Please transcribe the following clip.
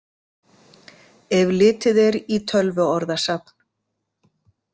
Ef litið er í Tölvuorðasafn.